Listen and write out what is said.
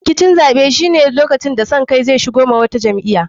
Rikicin zaɓe shine lokacin da son kai zai shigo wa wata jam'iya.